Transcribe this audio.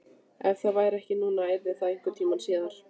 Ef það væri ekki núna yrði það einhvern tíma síðar.